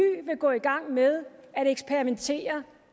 vil gå i gang med at eksperimentere